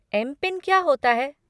MPIN क्या होता है?